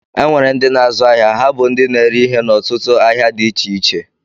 E nwere ndị na-azu áhiá, ha bú ndị na-ere ihe n'otutu ahịa dị iche iche.